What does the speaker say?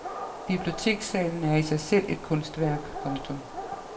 Bibliotekssalen er i sig selv et kunstværk. punktum